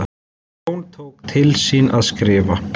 Jón tók til við skriftir.